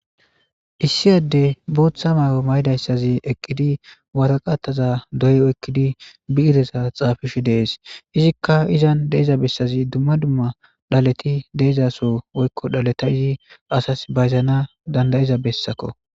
Issi addey booththa mayo mayidayssazi eqqidi waraqataza doyi oykidi bi'reza xaafishe dees iika izan de'iza bessazi dumma dumma dhaleti de'izaaso woykko dhaleta i asas bayzanas dandda'iza bessako.